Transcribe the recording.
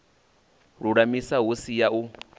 lulamisa hu si ya u